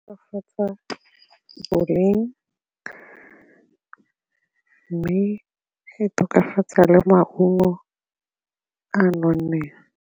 Tokafatsa boleng mme e tokafatsa le maungo a a nonneng.